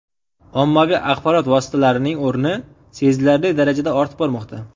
Ommaviy axborot vositalarining o‘rni sezilarli darajada ortib bormoqda.